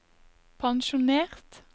pensjonert